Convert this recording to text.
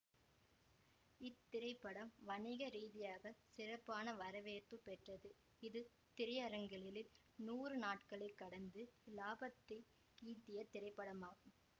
இத்திரைப்படம் வணிக ரீதியாக சிறப்பான வரவேற்பு பெற்றது இது திரையரங்குகளில் நூறு நாட்களை கடந்து இலாபத்தை ஈட்டிய திரைப்படமாகும்